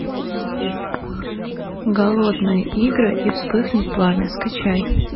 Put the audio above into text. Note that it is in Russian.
голодные игры и вспыхнет пламя скачай